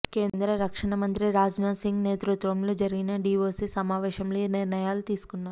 కేంద్ర రక్షణ మంత్రి రాజ్నాథ్ సింగ్ నేతృత్వంలో జరిగిన డీఓసీ సమావేశంలో ఈ నిర్ణయాలు తీసుకున్నారు